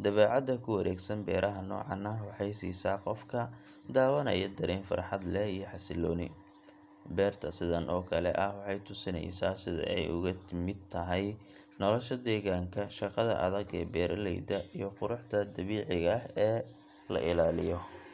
Dabecadda ku wareegsan beeraha nocan ah waxeey siisa qofka dawanaya dareen farxad leh iyo xasilloni ,beerta sidan oo kale ah waxeey tusineysaa sida ay uga mid tahay nolosha degaanka ,shaqada adag ee beeralayda iyo quruxda dabiiciga aha ee la ilaaliyo.